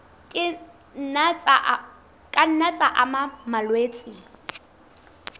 ka nna tsa ama malwetse